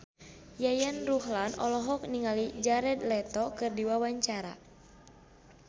Yayan Ruhlan olohok ningali Jared Leto keur diwawancara